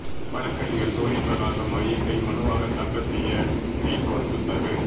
வழக்கறிஞர் சூரிய பிரகாசம் முறையீட்டை மனுவாக தாக்கல் செய்ய ஹைகோர்ட் உத்தரவு